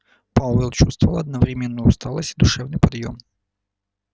пауэлл чувствовал одновременно усталость и душевный подъём